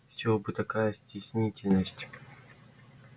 с чего бы такая стеснительность